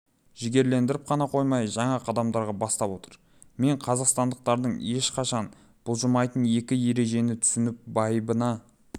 жігерлендіріп қана қоймай жаңа қадамдарға бастап отыр мен қазақстандықтардың ешқашан бұлжымайтын екі ережені түсініп байыбына